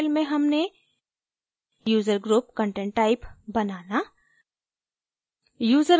इस tutorial में हमने user group content type बनाना